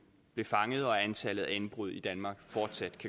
blev fanget og at antallet af indbrud i danmark fortsat